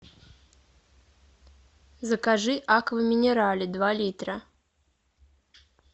закажи аква минерале два литра